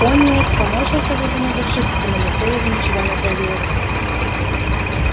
пониетс поморщился в глубине души хотя на лице его ничего не отразилось